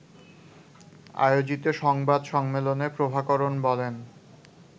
আয়োজিত সংবাদ সম্মেলনে প্রভাকরণ বলেন